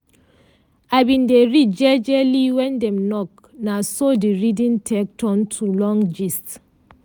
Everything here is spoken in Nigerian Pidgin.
i bin dey read jejely when dem knock na so the reading take turn to long gist.